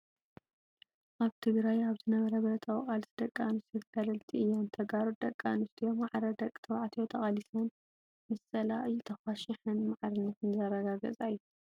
ኣብ ትግራይ ኣብ ዝነበረ ብረታዊ ቃልሲ ደቂ ኣንስትዮ ተጋደልቲ እየን። ተጋሩ ደቂ ኣንስትዮ ማዕረ ደቂ ተባዕትዮ ተቃሊሰን ምስ ፀላኢ ተኳሸሓን ማዕርነተን ዘረጋገፃ እየን።